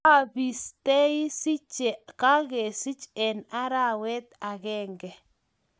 abistei cje kakisich eng arawet agenge